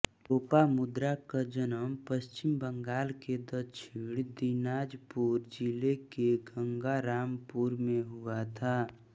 लोपामुद्रा का जन्म पश्चिम बंगाल के दक्षिण दिनाजपुर जिले के गंगारामपुर में हुआ था